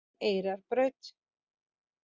Eyrarbraut